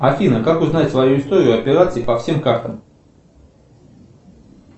афина как узнать свою историю операций по всем картам